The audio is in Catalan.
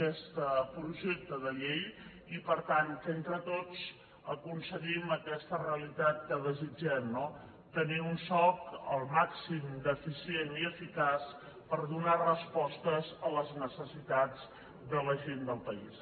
aquest projecte de llei i per tant que entre tots aconseguim aquesta realitat que desitgem no tenir un soc al màxim d’eficient i eficaç per donar respostes a les necessitats de la gent país